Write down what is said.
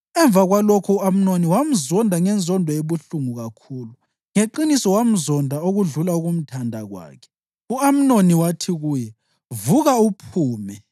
Emva kwalokho u-Amnoni wamzonda ngenzondo ebuhlungu kakhulu. Ngeqiniso wamzonda okudlula ukumthanda kwakhe. U-Amnoni wathi kuye, “Vuka uphume!”